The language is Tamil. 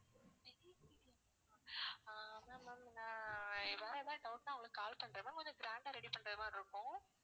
ஆஹ் அதான் ma'am நான் வேற ஏதாவது doubt னா உங்களுக்கு call பண்றேன் ma'am கொஞ்சம் grand ஆ ready பண்றது மாதிரி இருக்கும்